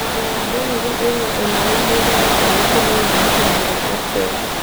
mondo ya denri ĩna ũnene mũigana ũrikũ na yonekanga atĩa